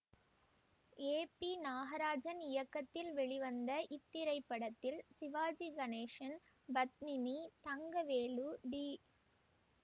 ஏ P Nagarajan இயக்கத்தில் வெளிவந்த இத்திரைப்படத்தில் சிவாஜி கணேசன் பத்மினி தங்கவேலு டி